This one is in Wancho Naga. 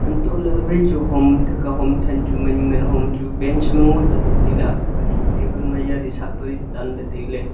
untohley waichu hom athahka hom than chu man ngan homchu bench ngo tamley tailey athah kachu table ma yali sahpali tanley tailey.